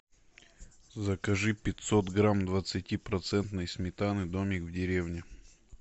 закажи пятьсот грамм двадцати процентной сметаны домик в деревне